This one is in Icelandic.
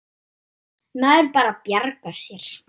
Maður bara bjargar sér.